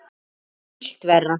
Gerir illt verra.